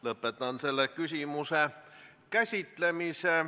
Lõpetan selle küsimuse käsitlemise.